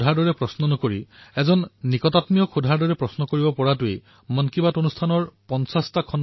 মন কী বাতৰ খণ্ডৰ সময় যেতিয়াই কাষ চাপি আহে তেতিয়া ভ্ৰমণৰ সময়ত আপোনালোকৰ দ্বাৰা প্ৰেৰণ কৰা চিন্তাধাৰা আৰু ইনপুটসমূহ মই ধ্যান দি পঢ়োঁ